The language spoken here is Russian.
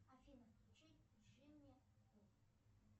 афина включи джимми у